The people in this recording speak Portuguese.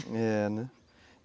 É, né?